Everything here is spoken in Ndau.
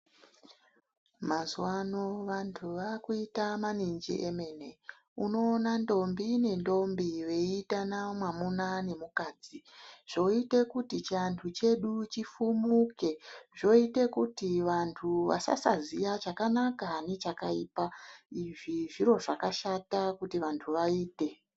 Mazuwano vantu vakuita maninji emene . Unoona ndombi nendombi veiitana mwamuna nemukadzi zvoite kuti chiantu chedu chifumuke zvoite kuti vantu vasasaziya chakanaka nechakaipa izvi zviro zvakashata kuti vantu vaite.